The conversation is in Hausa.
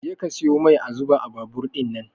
Je ka siyo mai a zuba a babur ɗinnan